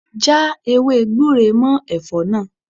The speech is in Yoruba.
Já ewé gbure mọ́ Ẹ̀fọ́ náà.